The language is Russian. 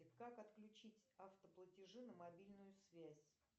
как отключить автоплатежи на мобильную связь